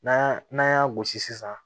N'an y'a n'an y'a gosi sisan